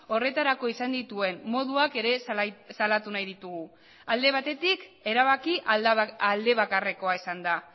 horretarako izan dituen moduak ere salatu nahi ditugu alde batetik erabaki aldebakarrekoa izan da